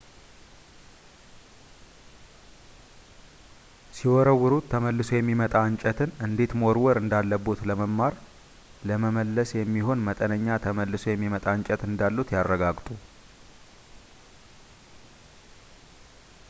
ሲወረውሩት ተመልሶ የሚመጣ እንጨትን እንዴት መወርወር እንዳለቦት ለመማር ለመመለስ የሚሆን መጠነኛ ተመልሶ የሚመጣ እንጨት እንዳሎት ያረጋግጡ